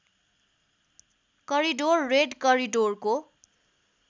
corridor red करिडोरको